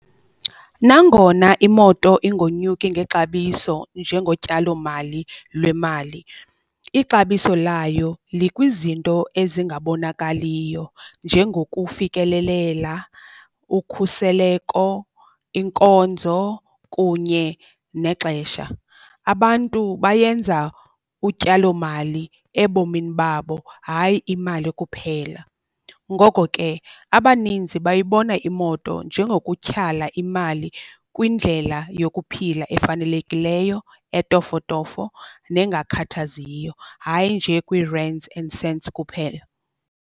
Nangona imoto ingonyuki ngexabiso njengotyalomali lwemali, ixabiso layo likwizinto ezingabonakaliyo njengokufikelelela, ukhuseleko, inkonzo kunye nexesha. Abantu bayenza utyalomali ebomini babo hayi imali kuphela, ngoko ke abaninzi bayibona imoto njengokutyhala imali kwindlela yokuphila efanelekileyo etofotofo nengakhathaziyo hayi nje kwii-rands and cents kuphela.